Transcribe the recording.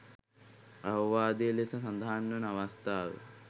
අවවාදය ලෙස සඳහන් වන අවස්ථාව.